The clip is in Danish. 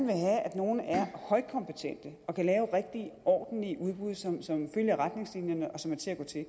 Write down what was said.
at nogle er højkompetente og kan lave rigtige ordentlige udbud som som følger retningslinjerne og som er til at gå til